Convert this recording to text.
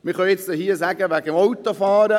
Wir können hier schon übers Autofahren sprechen.